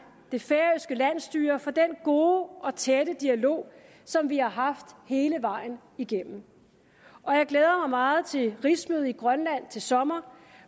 det færøske landsstyre for den gode og tætte dialog som vi har haft hele vejen igennem og jeg glæder meget til rigsmødet i grønland til sommer